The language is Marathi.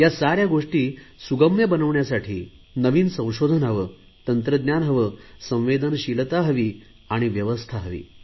या साऱ्या गोष्टी सुगम्य बनवण्यासाठी नवीन संशोधन हवे तंत्रज्ञाने हवे संवेदनशीलता हवी व्यवस्था हवी